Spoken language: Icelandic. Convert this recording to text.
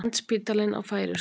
Landspítalinn á færeysku